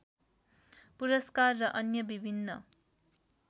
पुरस्कार र अन्य विभिन्न